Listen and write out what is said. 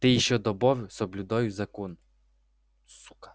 ты ещё добавь соблюдаю закон